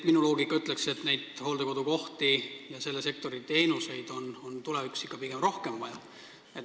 Minu loogika ütleb, et hooldekodukohti ja selle sektori teenuseid on tulevikus vaja pigem rohkem.